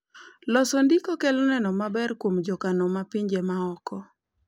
loso ndiko kelo neno maber kuom jokano ma pinje maoko